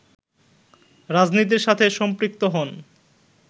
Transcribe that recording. রাজনীতির সাথে সম্পৃক্ত হন